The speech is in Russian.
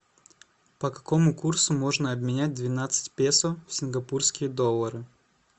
по какому курсу можно обменять двенадцать песо в сингапурские доллары